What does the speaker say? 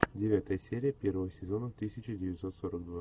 девятая серия первого сезона тысяча девятьсот сорок два